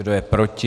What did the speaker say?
Kdo je proti?